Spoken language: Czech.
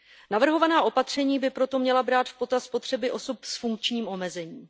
Navrhovaná opatření by proto měla brát v potaz potřeby osob s funkčním omezením.